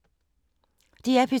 DR P2